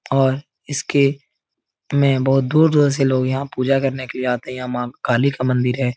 और इसके में बहोत दूर- दूर से लोग यहाँ पूजा करने के लिए आते हैं। यहाँ माँ काली का मंदिर है।